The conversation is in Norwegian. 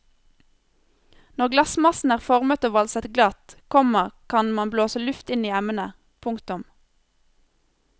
Når glassmassen er formet og valset glatt, komma kan man blåse luft inn i emnet. punktum